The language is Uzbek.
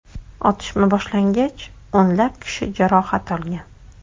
Otishma boshlangach, o‘nlab kishi jarohat olgan.